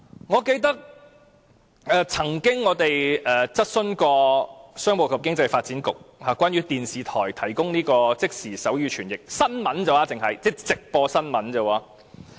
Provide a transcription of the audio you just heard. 我們曾經質詢商務及經濟發展局有關電視台提供即時手語傳譯服務的問題，問的只是關於直播新聞而已。